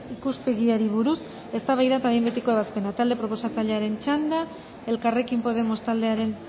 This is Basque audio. ikuspegiari buruz eztabaida eta behin betiko ebazpena talde proposatzailearen txanda elkarrekin podemos taldearen